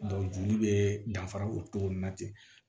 joli bɛ danfara o cogo nin na ten